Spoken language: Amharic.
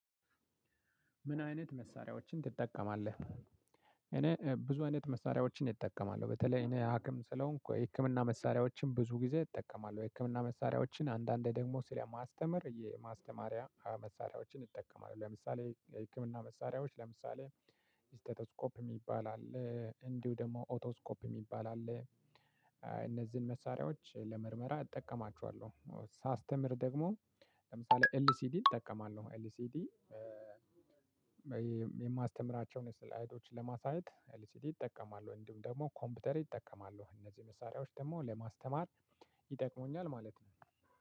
ምን አይነት መሳሪያዎችን ትጠቀማለህ? እኔ ብዙ አይነት መሳሪያዎችን እጠቀማለሁ በተለይ እኔ ሀክም ስለሆንኩ ህክምና መሳሪያዎችን ብዙ ጊዜ እጠቀማለሁ የህክምና መሳሪያዎችን አንዳንዴ ደግሞ ስለማስተምር የማስተማሪያ መሳሪያዎችን እጠቀማለሁ። ለምሳሌ የህክምና መሳሪያዎች ለምሳሌ ስተትስኮፕ እሚባል አለ እንዲሁ ደግሞ ኦቶስኮፕ የሚባል አለ። እነዚህን መሳሪያዎች ለምርመራ እጠቀማችኋለሁ ሳስተምር ደግሞ። ለምሳሌ ኤልሲዲ እጠቀማለሁ። ኤልሲዲ የማስተምራቸውን ስላየድች ለማሳየት ኤልሲዲ እጠቀማለሁ እንዲሁም ደግሞ ኮምፒውተር እጠቀማለሁ። እነዚህ መሳሪያዎች ደግሞ ለማስተማር ይጠቅሙኛል ማለት ነው።